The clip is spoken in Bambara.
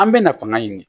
An bɛ na fanga ɲini